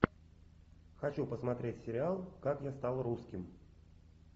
хочу посмотреть сериал как я стал русским